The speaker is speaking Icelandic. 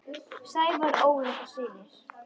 Sævar, Ólöf og synir.